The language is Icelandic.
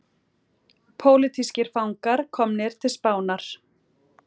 Pólitískir fangar komnir til Spánar